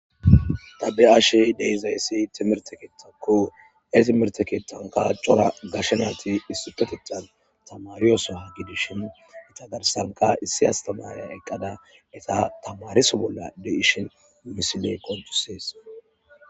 Ta beyashe dizayisi timirte kethako he timirte kethani coora gashe nayit tamarewussa gidishini etta garissanikka issi asitamariya eqada etta tamarisso bolla deyishin misiley qoncisesi